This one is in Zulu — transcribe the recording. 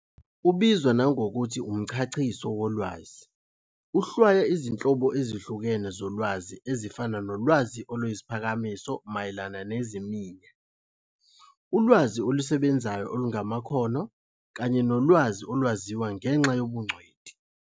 Ubizwa nangokuthi umchachiso wolwazi, uhlwaya izinhlobo ezihlukene zolwazi ezifana nolwazi oluyisiphakamiso mayelana neziminya, ulwazi olusebenzayo olungamakhono, kanye nolwazi olwaziwa ngenxa yobungcweti.